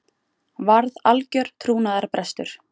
Varð algjör trúnaðarbrestur